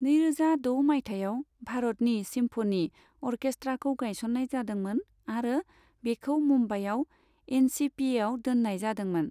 नैरोजा द' मायथाइयाव, भारतनि सिम्फनी अर्केस्ट्राखौ गायसननाय जादोंमोन, आरो बिखौ मुम्बाइआव एनसिपिएआव दोननाय जादोंमोन।